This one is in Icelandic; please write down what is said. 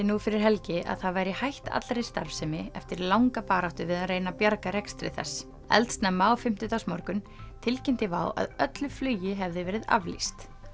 nú fyrir helgi að það væri hætt allri starfsemi eftir langa baráttu við að reyna að bjarga rekstri þess eldsnemma á fimmtudagsmorgun tilkynnti WOW að öllu flugi hefði verið aflýst